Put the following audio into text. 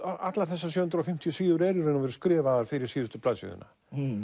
allar þessar sjö hundruð og fimmtíu síður eru í raun og veru skrifaðar fyrir síðustu blaðsíðuna